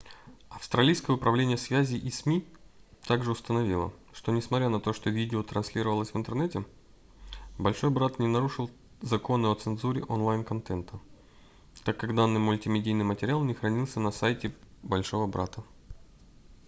австралийское управление связи и сми также установило что несмотря на то что видео транслировалось в интернете большой брат не нарушил законы о цензуре онлайн-контента так как данный мультимедийный материал не хранился на сайте большого брата